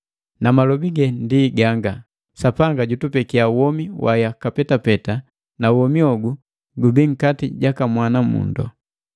Na malobi ge ndi ganga: Sapanga jutupekia womi wa yaka petapeta, na womi hogu gubii nkati jaka Mwana mundo.